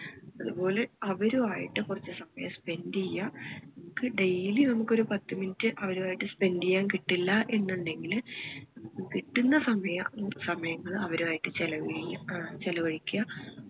അതുപോലെ അവരുമായിട്ട് കൊറച്ചു സമയം spend ചെയ്യാ നമുക്ക് daily നമ്മക്ക് ഒരു പത്ത് minute അവരുമായിട്ട് spend ചെയ്യാൻ കിട്ടില്ല എന്ന് ഇണ്ടെങ്കില് നമ്മക്ക് കിട്ടുന്ന സമയം സമയങ്ങളിൽ അവരുമായിട്ട് ചെലവ് ചെയ്യാ ഏർ ചെലവഴിക്കാ